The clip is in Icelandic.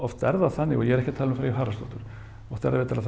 oft er það þannig og ég er ekki að tala um Freyju Haraldsdóttur oft er það